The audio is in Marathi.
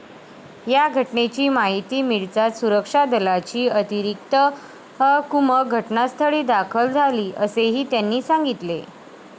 या घटनेची माहिती मिळताच सुरक्षा दलाची अतिरिक्त कुमक घटनास्थळी दाखल झाली, असेही त्यांनी सांगितले.